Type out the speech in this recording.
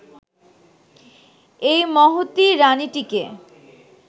এই মহতী রানিটিকে